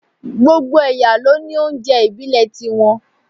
Gbogbo ẹ̀yà ló ní oúnjẹ ìbílẹ̀ tí wọ́n